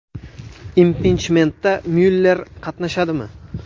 Impichmentda Myuller qatnashadimi?